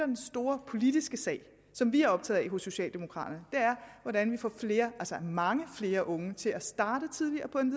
den store politiske sag som vi er optaget af hos socialdemokraterne er hvordan vi får mange flere unge til at starte tidligere på en